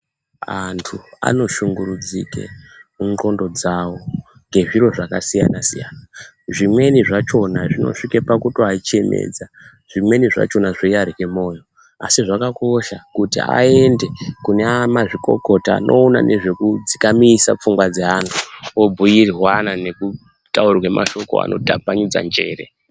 Vandu wanoshungurudzike mun'gondo dzawo ngezviro zvakasiyana siyana, zvimweni zvachona zvinosvike pakuachedza, zvimweni zvachona zveingarya moyo, asi zvakakosha kuti aende kune amazvikokota anoona nezvekudzikamisa pfungwa dzeandu, obhuirwana nekutaurirwa mashoko anotapanidza njere.